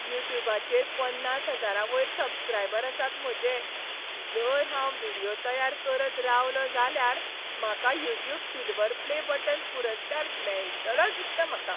युट्युबाचेर पन्नास हजारा वयर सबस्क्रायबर आसात म्हजे. जर हांव व्हिडियो तयार करत रावलों जाल्यार म्हाका युट्यूब सिल्व्हर प्ले बटन पुरस्कार मेळटलोच दिसता म्हाका.